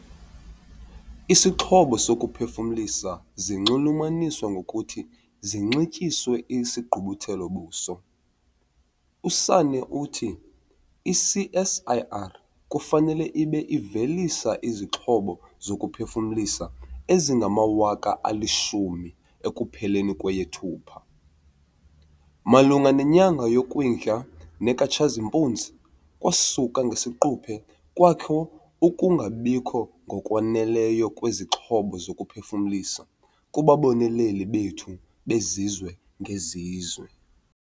Isixhobo sokuphefumlisa zinxulumanyiswa ngokuthi zinxityiswe isigqubuthelo-buso. USanne uthi i-CSIR kufanele ibe ivelise izixhobo zokuphefumlisa ezingama-10 000 ekupheleni kweyeThupha. "Malunga nenyanga yoKwindla nekaTshazimpuzi, kwasuka ngesiquphe kwakho ukungabikho ngokwaneleyo kwezixhobo zokuphefumlisa kubaboneleli bethu bezizwe-ngezizwe."